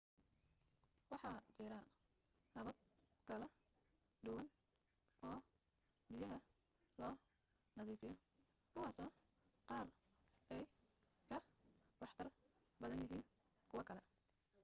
waxa jira habab kala duwan oo biyaha loo nadiifiyo kuwaasoo qaar ay ka waxtar badan yihiin kuwa kale